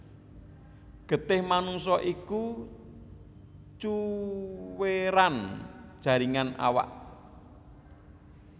Getih manungsa iku cuwéran jaringan awak